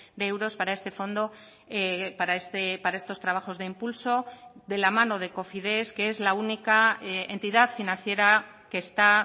de euros para este fondo para estos trabajos de impulso de la mano de cofides que es la única entidad financiera que está